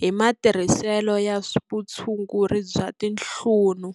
hi matirhiselo ya vutshunguri bya tinhlunu.